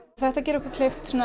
þetta gerir okkur kleift